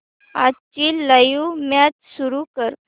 आजची live match सुरू कर